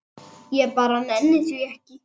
Ég bara nenni því ekki.